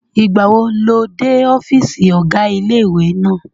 Ìgbàwo lo dé ọ́fìsì ọ̀gá ilé-ìwé náà?